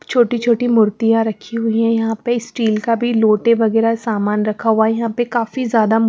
छोटी-छोटी मूर्तियां रखी हुई है यहां पे स्टील का भी लोटे वगैरह सामान रखा हुआ है यहां पे काफी ज्यादा--